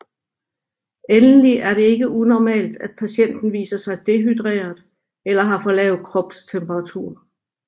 Endelig er det ikke unormalt at patienten viser sig dehydreret eller har for lav kropstemperatur